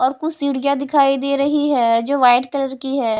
और कुछ सीढ़ियां दिखाई दे रही है जो वाइट कलर की है।